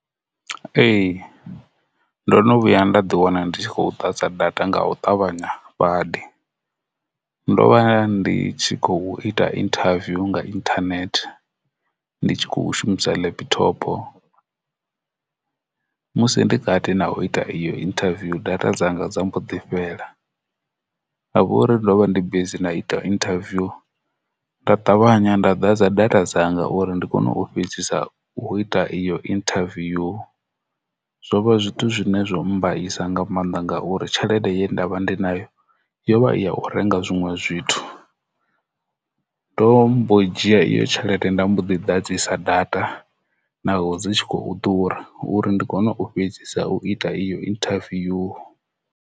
Ee, ndo no vhuya nda ḓi wana ndi khou ṱahisa data nga u ṱavhanya badi ndo vha ndi tshi khou ita inthaviwu nga internet ndi tshi kho shumisa laptop musi ndi kati na u ita iyo interview data dzanga dza mboḓi fhela havhori ndo vha ndi bizi na ita interview nda ṱavhanya nda ḓadza data dzanga uri ndi kone u fhedzisa u ita iyo interview. Zwovha zwithu zwine zwo ambarisa nga maanḓa ngauri tshelede ye ndavha ndi nayo yo vha i ya u renga zwiṅwe zwithu ndo mbo dzhia iyo tshelede nda mbo ḓi ḓadzisa data naho dzi tshi khou ḓura uri ndi kone u fhedzisa u ita iyo interview.